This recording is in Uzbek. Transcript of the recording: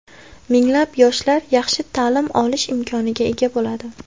Minglab yoshlar yaxshi ta’lim olish imkoniga ega bo‘ladi.